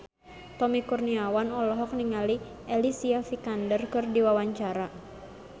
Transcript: Tommy Kurniawan olohok ningali Alicia Vikander keur diwawancara